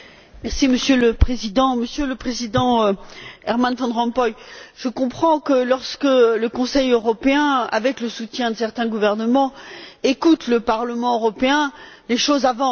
Monsieur le Président, Monsieur le Président Herman Van Rompuy, je comprends que, lorsque le Conseil européen, avec le soutien de certains gouvernements, écoute le Parlement européen, les choses avancent.